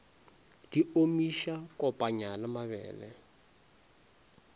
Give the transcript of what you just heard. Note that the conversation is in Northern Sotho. di omiša kopanya le mabele